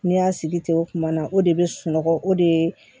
N'i y'a sigi ten o tuma na o de bɛ sunɔgɔ o de ye